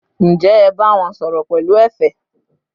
ǹjẹ́ ẹ bá wọn sọ̀rọ̀ pẹ̀lú ẹ̀fẹ̀?